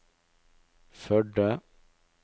Førde